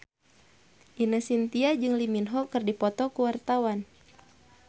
Ine Shintya jeung Lee Min Ho keur dipoto ku wartawan